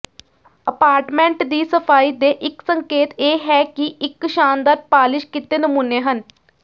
apartment ਦੀ ਸਫਾਈ ਦੇ ਇਕ ਸੰਕੇਤ ਇਹ ਹੈ ਕਿ ਇਕ ਸ਼ਾਨਦਾਰ ਪਾਲਿਸ਼ ਕੀਤੇ ਨਮੂਨੇ ਹਨ